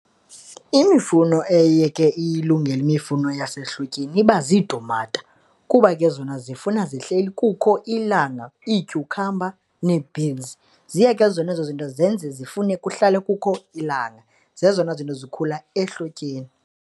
Imifuno eye ke ilungele imifuno yasehlotyeni iba ziitumata kuba ke zona zifuna zihleli kukho ilanga. Iityukhamba nee-beans, ziye ke zona ezo zinto zenze zifune kuhlala kukho ilanga, zezona zinto zikhula ehlotyeni.